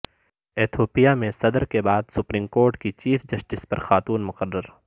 Ethiopia میں صدر کے بعد سپریم کورٹ کی چیف جسٹس بھی خاتون مقرر